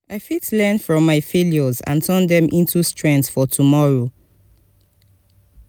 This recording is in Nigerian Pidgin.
i fit learn from my failures and turn dem into strength for tomorrow.